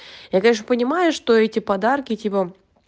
я конечно понимаю что эти подарки типа